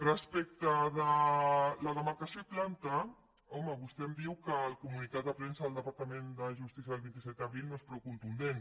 respecte de la demarcació i planta home vostè em diu que el comunicat de premsa del departament de justícia del vint set d’abril no és prou contundent